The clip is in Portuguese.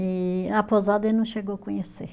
E a pousada ele não chegou conhecer.